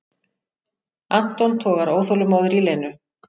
Anton togar óþolinmóður í Lenu.